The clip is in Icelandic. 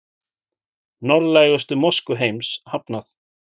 Norðlægustu mosku heims hafnað